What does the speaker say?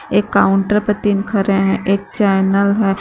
एक काउंटर पे तीन खरे है एक चैनल है।